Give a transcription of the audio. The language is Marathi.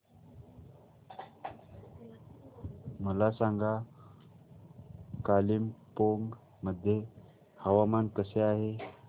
मला सांगा कालिंपोंग मध्ये हवामान कसे आहे